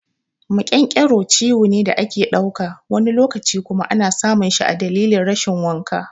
Maƙyanƙyaro ciwo ne da ake dauka, wani lokaci kuma ana samun shi dalilin rashin wanka.